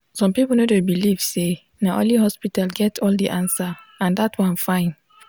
some people no dey believe say na only hospital get all the answer and dat one fine.